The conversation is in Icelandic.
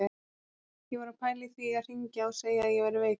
Ég var að pæla í því að hringja og segja að ég væri veikur.